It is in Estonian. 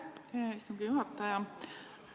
Aitäh, hea istungi juhataja!